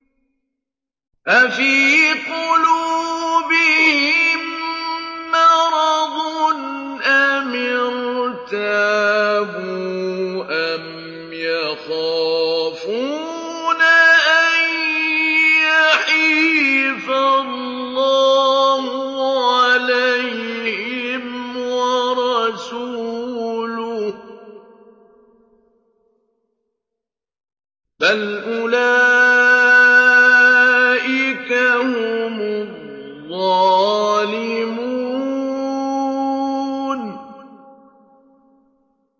أَفِي قُلُوبِهِم مَّرَضٌ أَمِ ارْتَابُوا أَمْ يَخَافُونَ أَن يَحِيفَ اللَّهُ عَلَيْهِمْ وَرَسُولُهُ ۚ بَلْ أُولَٰئِكَ هُمُ الظَّالِمُونَ